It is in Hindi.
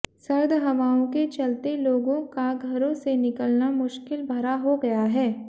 सर्द हवाओं के चलते लोगों का घरों से मिलना मुश्किल भरा हो गया है